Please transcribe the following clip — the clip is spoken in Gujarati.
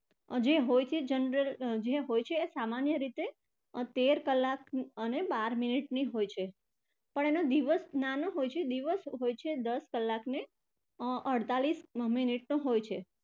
જે હોય છે general અર સામાન્ય રીતે તેર કલાક અને બાર minute ની હોય છે પણ એનો દિવસ નાનો હોય છે દિવસ હોય છે દસ કલાક અને અર અડતાળીસ minute નો હોય છે.